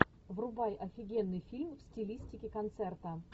врубай офигенный фильм в стилистике концерта